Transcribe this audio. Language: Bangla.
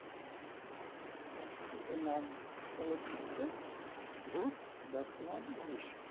আহ বইটার নাম চলচ্চিত্র ভূত বর্তমান ভবিষ্যৎ